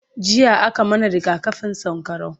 jiya a ka mana rigakafin sankarau